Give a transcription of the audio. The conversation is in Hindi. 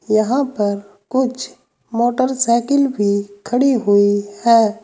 यहां पर कुछ मोटरसाइकिल भी खड़ी हुई है।